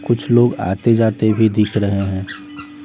कुछ लोग आते-जाते भी दिख रहे हैं।